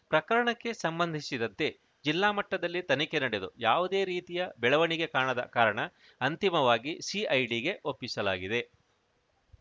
ಪ್ರಕರಣಕ್ಕೆ ಸಂಬಂಧಿಸಿದಂತೆ ಜಿಲ್ಲಾ ಮಟ್ಟದಲ್ಲಿ ತನಿಖೆ ನಡೆದು ಯಾವುದೇ ರೀತಿಯ ಬೆಳವಣಿಗೆ ಕಾಣದ ಕಾರಣ ಅಂತಿಮವಾಗಿ ಸಿಐಡಿಗೆ ಒಪ್ಪಿಸಲಾಗಿದೆ